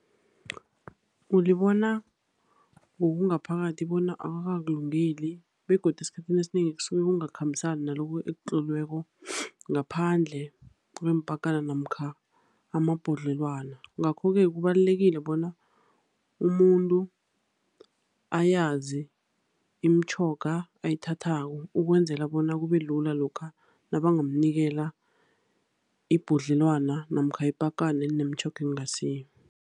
Ulibona ngokungaphakathi bona akakakulungeli, begodu esikhathini esinengi kusuke kungakhambisani nalokhu ekutloliweko ngaphandle kweempakana, namkha amabhodlelwana. Ngakho-ke kubalulekile bona umuntu ayazi imitjhoga ayithathako, ukwenzela bona kube lula lokha nabangamnikela ibhodlelwana namkha ipakana elinemitjhoga engasiyo.